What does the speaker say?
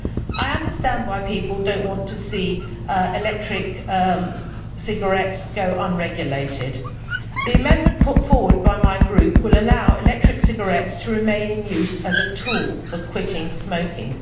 I understand why people do not want to see electronic cigarettes go unregulated. The amendment put forward by my Group will allow electronic cigarettes to remain in use as a tool for quitting smoking.